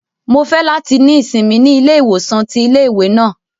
Mo fẹ lati ni isinmi ni ile-iwosan ti ile-iwe náà